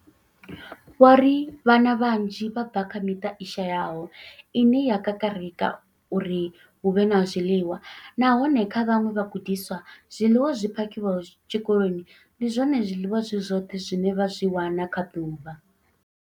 Vho ri, Vhana vhanzhi vha bva kha miṱa i shayaho ine ya kakarika uri hu vhe na zwiḽiwa, nahone kha vhaṅwe vhagudiswa, zwiḽiwa zwi phakhiwaho tshikoloni ndi zwone zwiḽiwa zwi zwoṱhe zwine vha zwi wana kha ḓuvha.